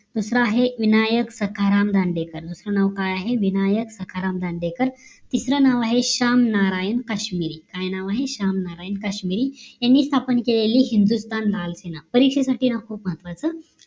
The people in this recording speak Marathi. दुसरा आहे विनायक सखाराम धांडेकर दुसरा नाव काय आहे विनायक सखाराम दांडेकर तिसरा नाव आहे श्याम नारायण काश्मिरी काय आहे श्याम नारायण काश्मिरी यांनी स्थापन केलेली हिंदुस्थान लाल सेना परीक्षेसाठी खूप महत्वाचं आहे